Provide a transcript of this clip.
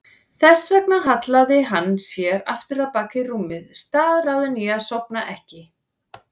Þess vegna hallaði hann sér aftur á bak í rúmið, staðráðinn í að sofna ekki.